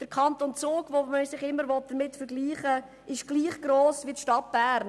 Der Kanton Zug, mit dem man sich immer vergleichen will, ist gleich gross wie die Stadt Bern.